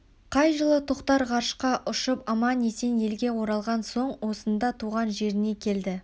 қай жылы тоқтар ғарышқа ұшып аман-есен елге оралған соң осында туған жеріне келді